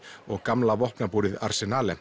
og gamla vopnabúrið